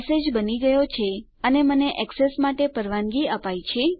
message બની ગયો છે અને મને એક્સેસ માટે પરવાનગી અપાયી છે